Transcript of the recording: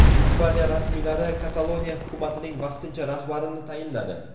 Ispaniya rasmiylari Kataloniya hukumatining vaqtincha rahbarini tayinladi.